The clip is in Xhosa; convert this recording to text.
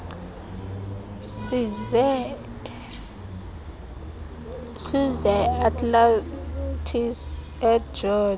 zise atlantis egeorge